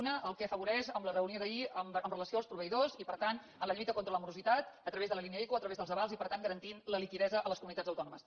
una el que afavoreix la reunió d’ahir amb relació als proveïdors i per tant a la lluita contra la morositat a través de la línia ico a través dels avals i per tant garantint la liquiditat a les comunitats autònomes